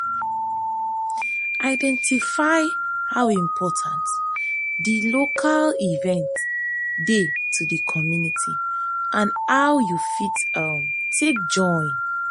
identify how important di local event dey to di community and how you fit um take join